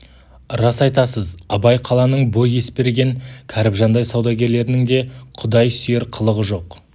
рас айтасыз абай қаланың бұ есберген кәріпжандай саудагерлерінің де құдай сүйер қылығы жоқ